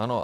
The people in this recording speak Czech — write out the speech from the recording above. Ano.